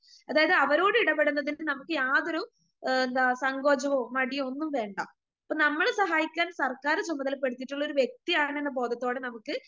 അതായത് അവരോടിടപെടുന്നതിന് നമുക്ക് യാതൊരു എ എന്താ സങ്കോചവോ മടിയോ ഒന്നും വേണ്ട. ഇപ്പ നമ്മളെ സഹായിക്കാൻ സര്ക്കാര് ചുമതലപ്പെടുത്തിയിട്ടുള്ളൊരു വ്യക്തിയാണെന്ന ബോധത്തോടെ നമുക്ക്